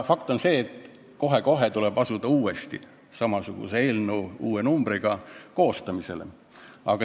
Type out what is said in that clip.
Fakt on see, et kohe-kohe tuleb asuda uue samasuguse eelnõu koostamisele.